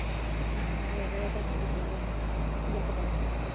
ਆ ਹੋਰ ਇਹ ਤੇ ਆਉ ਜਿਹ ਤਰਾਂ ਪਤਾ ਨੀ ਯਕਦਮ ਹੀ